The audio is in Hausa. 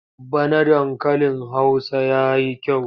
Bana dankalin Hausa ya yi kyau.